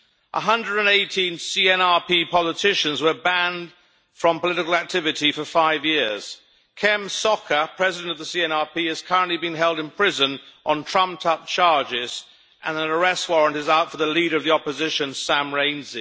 118 CNRP politicians were banned from political activity for five years. Kem Sokha, President of the CNRP, is currently being held in prison on trumped up charges, and an arrest warrant is out for the leader of the opposition, Sam Rainsy.